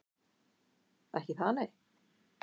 Ekki það nei.